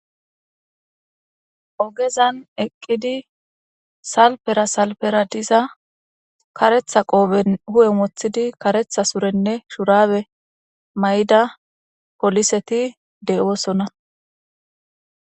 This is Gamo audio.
Ogezan eqqidi salpera salpera diza karetha qooben hu7e moththidi karetha surenne shurabe may7ida poliseti de7oosona.